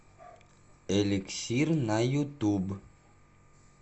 эликсир на ютуб